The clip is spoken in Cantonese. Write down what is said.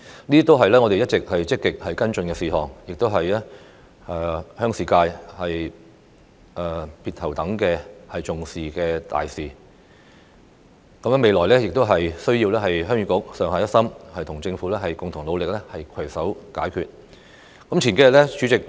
這些全是我一直積極跟進的事宜，亦是鄉事界別頭等重視的大事，未來仍需要鄉議局上下一心，與政府共同努力，攜手合作，以求取得成果。